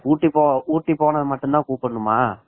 ஊட்டி போனா மட்டும் தான் கூப்பிடனுமா